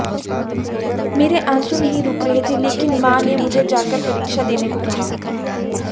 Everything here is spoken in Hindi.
मेरे आंसू नहीं रुक रहे थे लेकिन मां ने मुझे जाकर परीक्षा देने को कहा